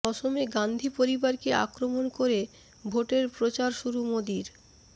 অসমে গান্ধী পরিবারকে আক্রমণ করে ভোটের প্রচার শুরু মোদীর